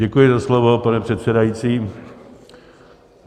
Děkuji za slovo, pane předsedající.